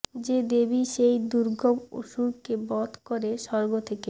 যে দেবী সেই দুর্গম অসুরকে বধ করে স্বর্গ থেকে